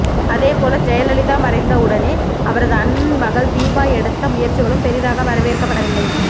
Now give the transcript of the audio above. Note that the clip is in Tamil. அதேபோல் ஜெயலலிதா மறைந்தவுடன் அவரது அண்ணன் மகள் தீபா எடுத்த முயற்சிகளும் பெரிதாக வரவேற்கப்படவில்லை